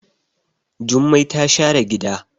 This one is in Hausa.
Jummai ta share gida.